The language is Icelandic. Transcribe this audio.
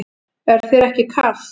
Er þér ekki kalt?